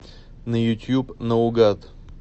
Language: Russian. на ютьюб наугад